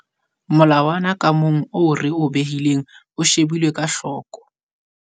Molawana ka mong oo re o behileng o shebilwe ka hloko.